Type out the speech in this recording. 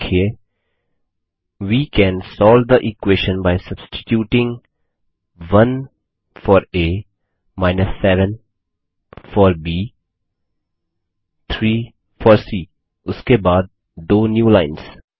और लिखिए we can solve the equation by substituting 1 for a 7 for b 3 for c उसके बाद दो न्यूलाइन्स